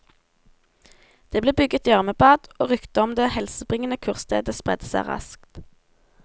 Det ble bygget gjørmebad, og ryktet om det helsebringende kurstedet spredte seg raskt.